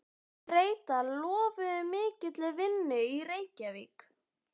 Bretar lofuðu mikilli vinnu í Reykjavík.